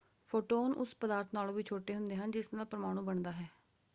Photon ਉਸ ਪਦਾਰਥ ਨਾਲੋਂ ਵੀ ਛੋਟੇ ਹੁੰਦੇ ਹਨ ਜਿਸ ਨਾਲ ਪਰਮਾਣੂ ਬਣਦਾ ਹੈ!